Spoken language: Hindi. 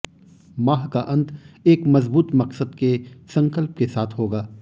माह का अंत एक मजबूत मकसद के संकल्प के साथ होगा